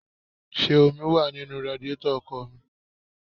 Ṣé omi wá nínú radíetọ̀ ọkọ̀ mi?